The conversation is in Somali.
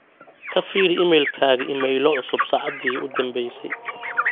ka firi iimaylkayga iimaylo cusub saacadii u danbaysay